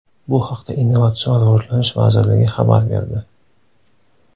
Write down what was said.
Bu haqda Innovatsion rivojlanish vazirligi xabar berdi .